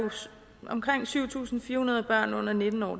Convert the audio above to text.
omkring syv tusind fire hundrede børn under nitten år